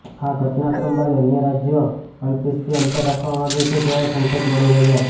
આ ઘટનાક્રમ બાદ અન્ય રાજ્યો અલ્પેશથી અંતર રાખવા માગે છે તેવા સંકેત મળી રહ્યા છે